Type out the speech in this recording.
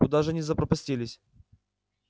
куда же они запропастились